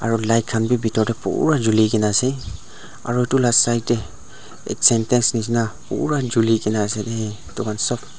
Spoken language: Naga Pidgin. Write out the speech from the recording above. aro light khan bethor de pura julikena ase aro sintex nishena pura julikena ase.